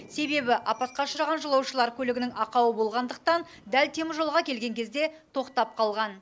себебі апатқа ұшыраған жолаушылар көлігінің ақауы болғандықтан дәл теміржолға келген кезде тоқтап қалған